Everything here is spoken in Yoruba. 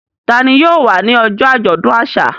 Ta ni yóò wá ní ọjọ́ àjọ̀dún àṣà?